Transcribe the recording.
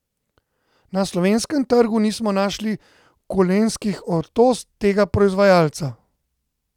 Na slovenskem trgu nismo našli kolenskih ortoz tega proizvajalca.